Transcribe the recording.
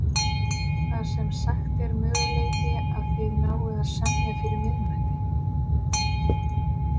Lillý: Það sem sagt er möguleiki að þið náið að semja fyrir miðnætti?